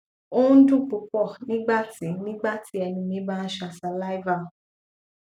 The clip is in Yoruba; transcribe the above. o n dun pupọ nigbati nigbati ẹnu mi ba n ṣa saliva